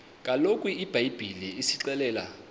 kaloku ibhayibhile isixelela